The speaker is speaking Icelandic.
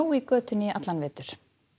í götunni í vetur